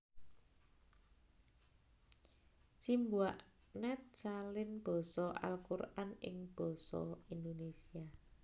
Cimbuak net Salin basa Al Quran ing basa Indonesia